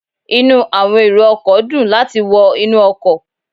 Inu àwọn èrò ọkọ̀ dùn láti wọ inú ọkọ̀